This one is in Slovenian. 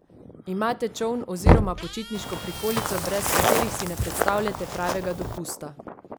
Imate čoln oziroma počitniško prikolico, brez katerih si ne predstavljate pravega dopusta?